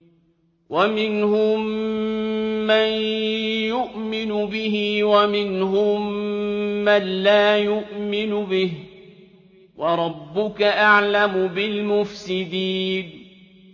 وَمِنْهُم مَّن يُؤْمِنُ بِهِ وَمِنْهُم مَّن لَّا يُؤْمِنُ بِهِ ۚ وَرَبُّكَ أَعْلَمُ بِالْمُفْسِدِينَ